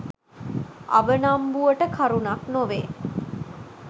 අවනම්බුවට කරුණක් නොවේ.